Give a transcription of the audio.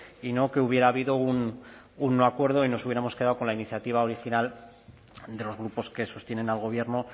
y no que hubiera habido un acuerdo y nos hubiéramos quedado con la iniciativa original de los grupos que sostienen al gobierno